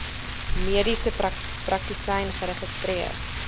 mediese praktisyn geregistreer